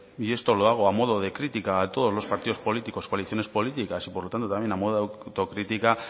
y esto lo hago a modo de crítica a todos los partidos políticos coaliciones políticas y por lo tanto a modo de autocrítica